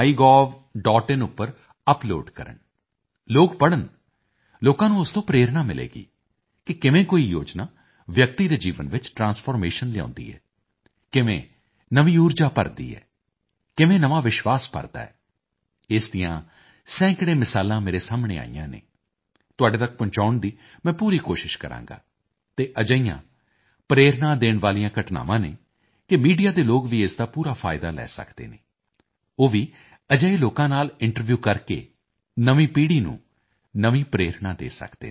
in ਉੱਪਰ upload ਕਰਨ ਲੋਕ ਪੜ੍ਹਨ ਲੋਕਾਂ ਨੂੰ ਉਸ ਤੋਂ ਪ੍ਰੇਰਣਾ ਮਿਲੇਗੀ ਕਿ ਕਿਵੇਂ ਕੋਈ ਯੋਜਨਾ ਵਿਅਕਤੀ ਦੇ ਜੀਵਨ ਵਿੱਚ ਟ੍ਰਾਂਸਫਾਰਮੇਸ਼ਨ ਲਿਆਉਂਦੀ ਹੈ ਕਿਵੇਂ ਨਵੀਂ ਊਰਜਾ ਭਰਦੀ ਹੈ ਕਿਵੇਂ ਨਵਾਂ ਵਿਸ਼ਵਾਸ ਭਰਦਾ ਹੈ ਇਸ ਦੀਆਂ ਸੈਂਕੜੇ ਮਿਸਾਲਾਂ ਮੇਰੇ ਸਾਹਮਣੇ ਆਈਆਂ ਹਨ ਤੁਹਾਡੇ ਤੱਕ ਪਹੁੰਚਾਉਣ ਦੀ ਮੈਂ ਪੂਰੀ ਕੋਸ਼ਿਸ਼ ਕਰਾਂਗਾ ਅਤੇ ਅਜਿਹੀਆਂ ਪ੍ਰੇਰਣਾ ਦੇਣ ਵਾਲੀਆਂ ਘਟਨਾਵਾਂ ਹਨ ਕਿ ਮੀਡੀਆ ਦੇ ਲੋਕ ਵੀ ਇਸ ਦਾ ਪੂਰਾ ਫਾਇਦਾ ਲੈ ਸਕਦੇ ਹਨ ਉਹ ਵੀ ਅਜਿਹੇ ਲੋਕਾਂ ਨਾਲ ਇੰਟਰਵਿਊ ਕਰਕੇ ਨਵੀਂ ਪੀੜ੍ਹੀ ਨੂੰ ਨਵੀਂ ਪ੍ਰੇਰਣਾ ਦੇ ਸਕਦੇ ਹਨ